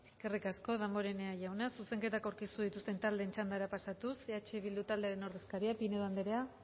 eskerrik asko damborenea jauna zuzenketak aurkeztu dituzten taldeen txandara pasatuz eh bildu taldearen ordezkaria pinedo anderea